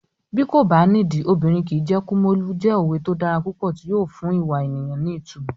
Bí kò bá nídìí, obìnrin kìí jẹ́ Kumolu" jẹ́ òwe tó dára púpọ̀ tí yóò fún ìwà ènìyàn ní ìtumọ̀.